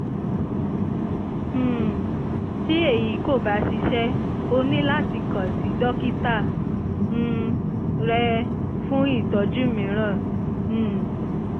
um tí èyí kò bá ṣiṣẹ́ o ní láti kàn sí dókítà um rẹ fún ìtọ́jú mìíràn um